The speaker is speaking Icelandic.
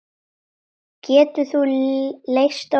Getur þú leyst orðin?